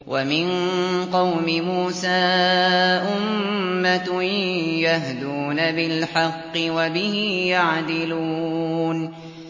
وَمِن قَوْمِ مُوسَىٰ أُمَّةٌ يَهْدُونَ بِالْحَقِّ وَبِهِ يَعْدِلُونَ